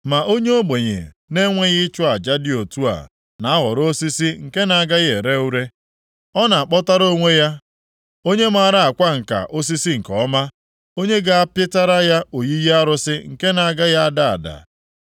Ma onye ogbenye na-enweghị ịchụ aja dị otu a na-ahọrọ osisi nke na-agaghị ere ure. Ọ na-akpọtara onwe ya onye maara akwa ǹka osisi nke ọma, onye ga-apịtara ya oyiyi arụsị nke na-agaghị ada ada.